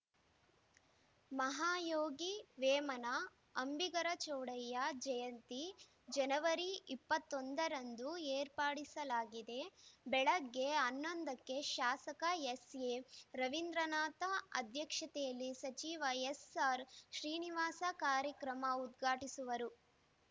ಮಹಾಯೋಗಿ ವೇಮನ ಅಂಬಿಗರ ಚೌಡಯ್ಯ ಜಯಂತಿ ಜನವರಿ ಇಪ್ಪತ್ತ್ ಒಂದು ರಂದು ಏರ್ಪಡಿಸಲಾಗಿದೆ ಬೆಳಗ್ಗೆ ಹನ್ನೊಂದು ಕ್ಕೆ ಶಾಸಕ ಎಸ್‌ಎರವೀಂದ್ರನಾಥ ಅಧ್ಯಕ್ಷತೆಯಲ್ಲಿ ಸಚಿವ ಎಸ್‌ಆರ್‌ ಶ್ರೀನಿವಾಸ ಕಾರ್ಯಕ್ರಮ ಉದ್ಘಾಟಿಸುವರು